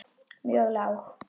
mjög lág.